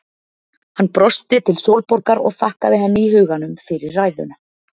Hann brosti til Sólborgar og þakkaði henni í huganum fyrir ræðuna.